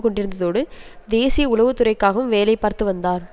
கொண்டிருந்ததோடு தேசிய உளவுத்துறைக்காகவும் வேலை பார்த்து வந்தார்